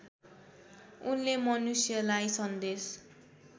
उनले मनुष्यलाई सन्देश